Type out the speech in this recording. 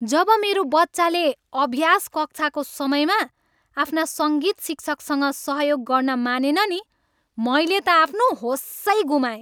जब मेरो बच्चाले अभ्यास कक्षाको समयमा आफ्ना सङ्गीत शिक्षकसँग सहयोग गर्न मानेन नि मैले त आफ्नो होसै गुमाएँ।